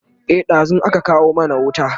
e ɗazun aka kawo mana wuta